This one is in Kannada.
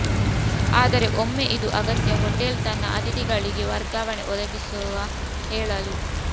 ಆದರೆ ಒಮ್ಮೆ ಇದು ಅಗತ್ಯ ಹೋಟೆಲ್ ತನ್ನ ಅತಿಥಿಗಳಿಗೆ ವರ್ಗಾವಣೆ ಒದಗಿಸುವ ಹೇಳಲು